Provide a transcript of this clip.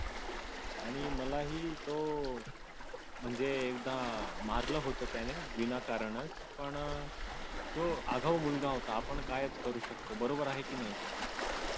आणि मलाही तो म्हणजे एकदा मारलं होतं त्याने विनाकारण पण तो आगाऊ मुलगा होता पण आपण काय करू शकतो बरोबर आहे कि नाही